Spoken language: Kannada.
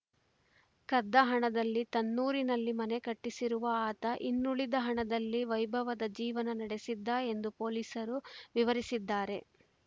ಕದ್ದ ಹಣದಲ್ಲಿ ತನ್ನೂರಿನಲ್ಲಿ ಮನೆ ಕಟ್ಟಿಸಿರುವ ಆತ ಇನ್ನುಳಿದ ಹಣದಲ್ಲಿ ವೈಭವದ ಜೀವನ ನಡೆಸಿದ್ದ ಎಂದು ಪೊಲೀಸರು ವಿವರಿಸಿದ್ದಾರೆ